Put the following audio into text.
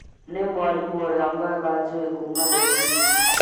Nĩ mwarimũ ĩria mwega njũĩ kuma ndĩ mũnini